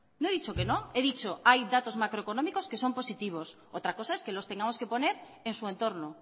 no he dicho que no he dicho hay datos macroeconómicos que son positivos otra cosa es que los tengamos que poner en su entorno